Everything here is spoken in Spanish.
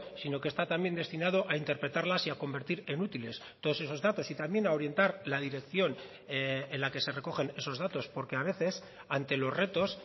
sino que está también destinado a interpretarlas y a convertir en útiles todos esos datos y también a orientar la dirección en la que se recogen esos datos porque a veces ante los retos